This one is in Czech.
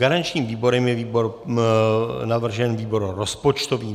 Garančním výborem je navržen výbor rozpočtový.